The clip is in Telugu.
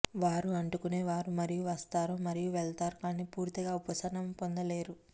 వారు అంటుకొనేవారు మరియు వస్తారు మరియు వెళ్తారు కానీ పూర్తిగా ఉపశమనం పొందలేరు